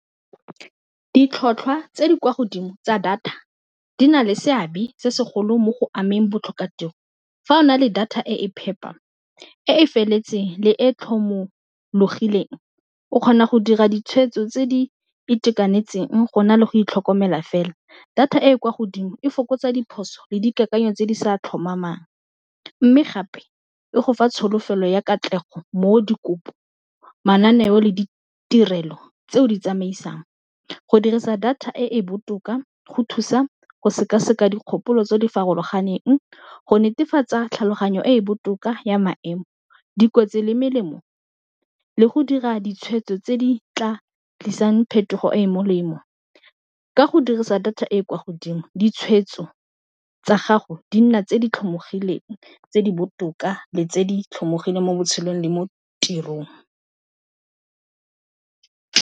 Ditlhotlhwa tse di kwa godimo tsa data di na le seabe se segolo mo go ameng botlhokatiro fa o na le data e e phepa, e e feletseng le e tlhomologileng o kgona go dira ditshwetso tse di itekanetseng go na le go itlhokomela fela, data e e kwa godimo e fokotsa diphoso le dikakanyo tse di sa tlhomamang, mme gape e go fa tsholofelo ya katlego mo dikopo mananeo le ditirelo tse o di tsamaisang, go dirisa data e e botoka go thusa go sekaseka dikgopolo tse di farologaneng go netefatsa tlhaloganyo e e botoka ya maemo, dikotsi le melemo le go dira ditshwetso tse di tla tlisang phetogo e e molemo, ka go dirisa data e e kwa godimo ditshwetso tsa gago di nna tse di tlhomogileng tse di botoka le tse di tlhomogileng mo botshelong le mo tirong.